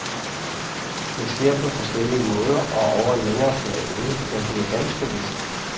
Det sker på forskellige måder og over en længere periode, men det er ganske vist.